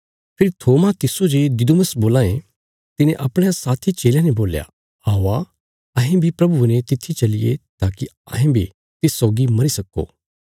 फेरी थोमा तिस्सो जे दिदुमुस बोलां ये तिने अपणयां साथी चेलयां ने बोल्या औआ अहें बी प्रभुये ने तित्थी चलिये ताकि अहें बी तिस सौगी मरी सक्को